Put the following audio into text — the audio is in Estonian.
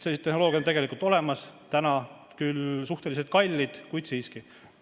Sellised tehnoloogiad on olemas, nad on küll veel suhteliselt kallid, kuid siiski.